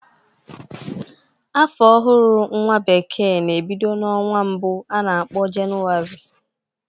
Afọ ọhụrụ nwa bekee na-ebido n'ọnwa mbụ a na-akpọ jenuari